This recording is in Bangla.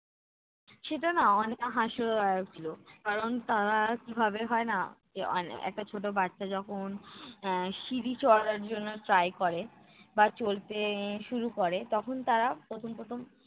সেটা নাহ অনেকটা হাসিও লাগছিল কারণ তারা কিভাবে হয় নাহ যে আহ একটা ছোটো বাচ্চা যখন আহ সিঁড়ি চড়ার জন্য try করে বা চলতে শুরু করে তখন তারা প্রথম প্রথম